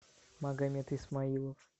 магомед исмаилов